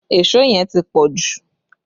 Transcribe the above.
Èṣó yẹn ti pọ jù